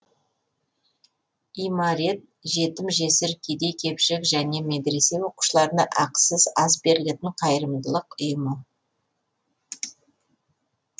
имарет жетім жесір кедей кепшік және медресе оқушыларына ақысыз ас берілетін қайырымдылық ұйымы